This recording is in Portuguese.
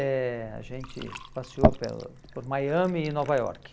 eh A gente passeou pelo por Miami e Nova York.